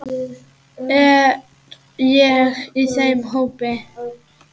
Er ég í þeim hópi.